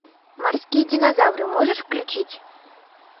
морские динозавры можешь включить